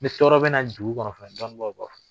N tɔɔrɔ bɛ na dugu kɔnɔ fana dɔnnibaw b'a fɔ